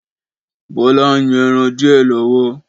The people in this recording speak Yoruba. Bọlá ń yan ẹran díè lọ́wọ́